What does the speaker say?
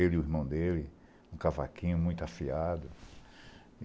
ele e o irmão dele, um cavaquinho muito afiado.